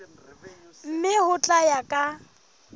mme ho tla ya ka